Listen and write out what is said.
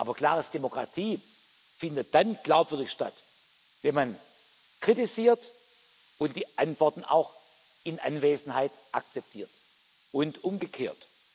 Aber klar ist Demokratie findet dann glaubwürdig statt, wenn man kritisiert und die Antworten auch in Anwesenheit akzeptiert, und umgekehrt.